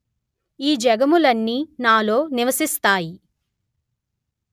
ఈ జగములన్నీ నాలో నివసిస్తాయి